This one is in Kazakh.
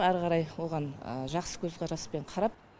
әрі қарай оған жақсы көзқараспен қарап